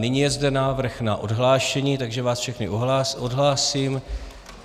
Nyní je zde návrh na odhlášení, takže vás všechny odhlásím.